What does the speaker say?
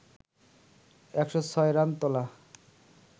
১০৬ run তোলা